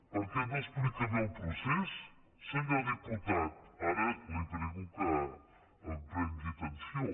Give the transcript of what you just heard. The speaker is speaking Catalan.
per què no explica bé el procés senyor diputat ara li prego que em prengui atenció